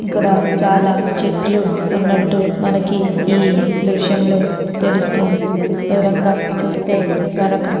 ఇక్కడ చాలా చెట్లు ఉన్నట్టు మనకి ఈ దృశ్యం లో తెలుస్తుంది. దూరంగా చూస్తే గనక --